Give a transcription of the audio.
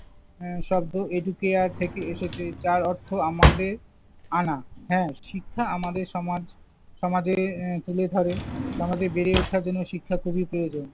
উম শব্দ educare থেকে এসেছে। যার অর্থ আমাদের আনা। হ্যাঁ, শিক্ষা আমাদের সমাজ~ সমাজে তুলে ধরে। সমাজে বেড়ে ওঠার জন্য শিক্ষা খুবই প্রয়োজন।